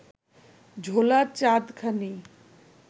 ঝোলা চাঁদখানি